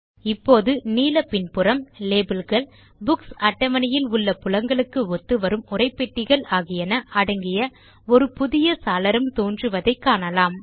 இப்போது நீல பின்புலம் லேபில்கள் புக்ஸ் அட்டவணையில் உள்ள புலங்களுக்கு ஒத்துவரும் உரைப்பெட்டிகள் ஆகியன அடங்கிய ஒரு புதிய சாளரம் தோன்றுவதை காணலாம்